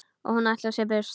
Og hún ætlar sér burt.